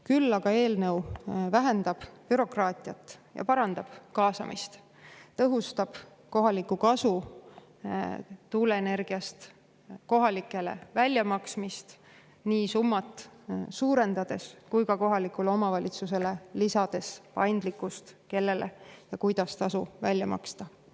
Küll aga vähendab eelnõu bürokraatiat ja parandab kaasamist, tõhustab tuuleenergiapõhise kohaliku kasu väljamaksmist kohalikele, suurendades nii selle summat kui ka lisades kohalikule omavalitsusele paindlikkust selle kohta, kellele ja kuidas tuleks tasu välja maksta.